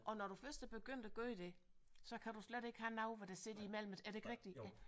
Og når du først er begyndt at gøre det så kan du slet ikke have noget hvor der sidder imellem er det ikke rigtigt